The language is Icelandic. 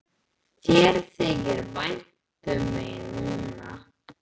Þér þykir vænt um mig núna.